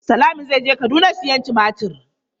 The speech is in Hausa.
Salami zai je Kaduna siyan tumatir.